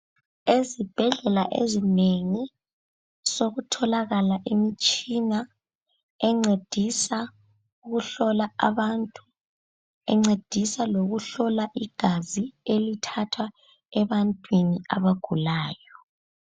Ezibhedlela ezinengi sekutholakele imitshina encedisa ukuhlola abantu, encedisa lokuhlola igazi elithathwa ebantwini abagulayo.